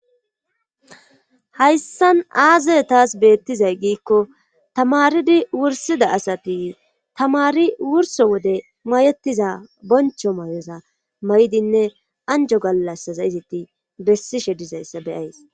hayssan aaze taas beettizay giikko tamaridi wursida asati tamari wurso wode mayetiza boncho mayoza may7idinne anjo gallasaza izitti bessishe dizayssa beyays